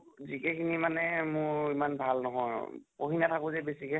GK খিনি মানে মোৰ ইমান ভাল নʼহল , পঢ়ি নাথাকো যে বেছিকে